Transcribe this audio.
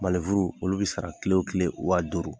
olu bɛ sara kile o kile waa duuru